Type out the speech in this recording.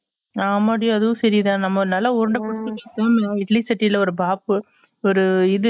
ஆமா டி அதுவும் சரி தான் நம்ம நல்லா உருண்டைபிடுச்சு குடுப்போம் நல்லா இட்லி சட்டில ஒரு பாப் ஒரு இது